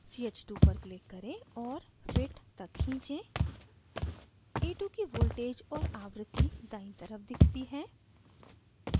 ch2 पर click करें और fit तक खींचें ch2 की voltage और आवृत्ति दायीं तरफ दिखती हैं